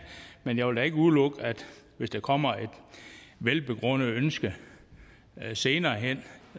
men jeg vil da ikke udelukke hvis der kommer et velbegrundet ønske senere hen